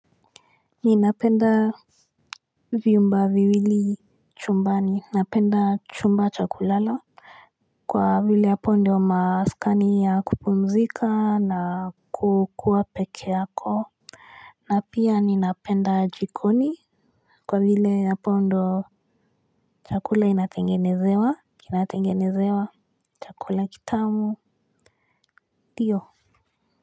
Ninapenda viumba viwili chumbani, napenda chumba chakulala. Kwa vile yapo ndio maskani ya kupumzika na kukua peke yako na pia ninapenda jikoni. Kwa vile yapo ndo chakula inatengenezewa, kinatengenezewa, chakula kitamu, tiyo.